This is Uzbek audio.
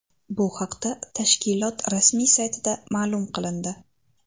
Bu haqda tashkilot rasmiy saytida ma’lum qilindi .